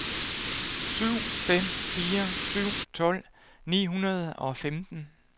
syv fem fire syv tolv ni hundrede og femten